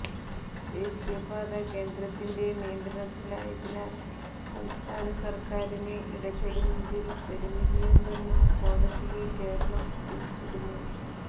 ദേശീയ പാത കേന്ദ്രത്തിന്റെ നിയന്ത്രണത്തിലായതിനാൽ സംസ്ഥാന സർക്കാരിന് ഇടപെടുന്നതിൽ പരിമിതിയുണ്ടെന്നും കോടതിയെ കേരളം അറിയിച്ചിരുന്നു